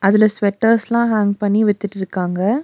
இதுல ஸ்வெட்டர்ஸ் எல்லாம் ஹேங்க் பண்ணி வித்திட்ருக்காங்க.